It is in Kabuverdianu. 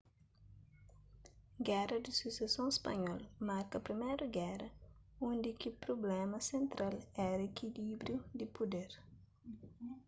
géra di suseson spanhol marka priméru géra undi ki prubléma sentral éra ikilíbriu di puder